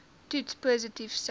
toets positief sou